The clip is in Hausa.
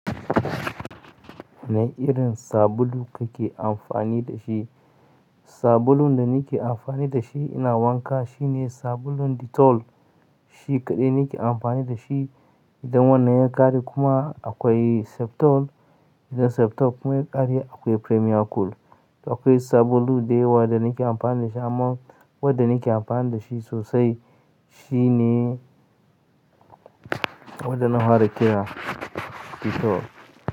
Wane irin sabulu kake amfani da shi? Sabulun da nake amfani da shi ina wanka shine sabulun Dettol. Shi kaɗai nake amfani da shi. Idan wannan ya ƙare kuma akwai Septol, idan Septol kuma ya ƙare akwai Premier Cool. Akwai sabulu da yawa da nake amfani da shi amma wadda nake amfani da shi sosai shine wadda na fara kira Dettol.